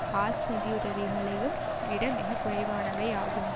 hearts நிதி உதவிகளையும் விட மிக குறைவானவை ஆகும்